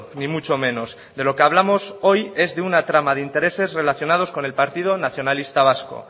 ni mucho menos de lo que hablamos hoy es de una trama de intereses relacionados con el partido nacionalista vasco